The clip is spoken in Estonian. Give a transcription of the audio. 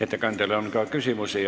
Ettekandjale on ka küsimusi.